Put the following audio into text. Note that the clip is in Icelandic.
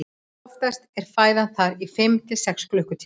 oftast er fæðan þar í fimm til sex klukkutíma